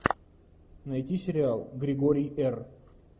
найти сериал григорий р